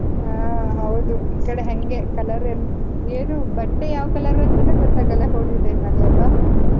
ಹ್ಮ್, ಹೌದು. ಈ ಕಡೆ ಹಂಗೆ color ಏನು, ಬಟ್ಟೆ ಯಾವ್ color ಅಂತಾನೂ ಗೊತ್ತಾಗಲ್ಲ ಹೋಳಿ time ನಲ್ಲಿ ಅಲ್ವಾ?